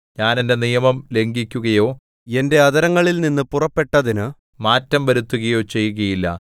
ഞാൻ എന്റെ നിയമം ലംഘിക്കുകയോ എന്റെ അധരങ്ങളിൽനിന്നു പുറപ്പെട്ടതിന് മാറ്റം വരുത്തുകയോ ചെയ്യുകയില്ല